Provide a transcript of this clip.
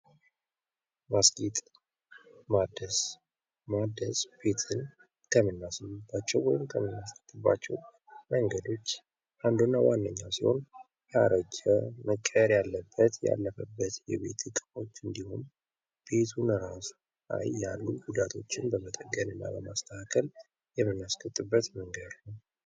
ማስጌጥ ማደስ፦ ማደስ ቤትን ከምናስውብባቸው ወይም ከምናስጌጥባቸው መንገዶች አንዱና ዋነኛው ሲሆን ያረጁ ቤቶችን መቀየር ያለበት ያለፈበት እቃዎች እንዲሁም ቤቱን ራሱ ያሉ ጉዳዮች ጉዳቶችን በመጠቀም እና በማስተካከል የምናስጌጥበት መንገድ ነው።